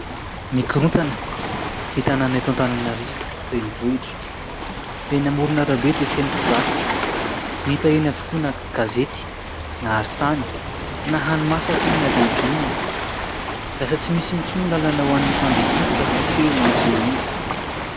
Mikorontana ny tanàna eto Atananarivo renivohitra. Eny amoron'arabe dia feno mpivarotra, hita eny avokoa na gazety, na arintany, na hani-masaka io na legioma. Lasa tsy misy intsony ny lalana ho an'ny mpadeha tongotra fa feno azy ireny.